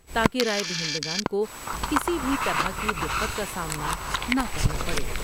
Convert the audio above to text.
تا کہ راۓ دہندگان کو کسی بھی طرح کی دقت کا سامنا نہ کرنا پڑے ۔